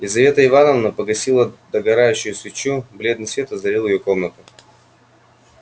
лизавета ивановна погасила догорающую свечу бледный свет озарил её комнату